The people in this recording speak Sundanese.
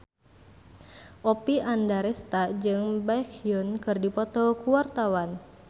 Oppie Andaresta jeung Baekhyun keur dipoto ku wartawan